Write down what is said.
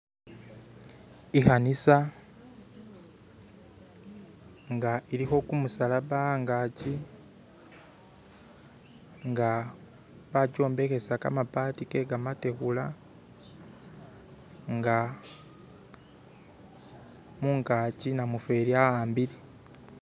ikanisa nga ilikho kumusalaba angaki nga bakyombekhesa kamabati ke kamategula nga mungaki namufeli aambile.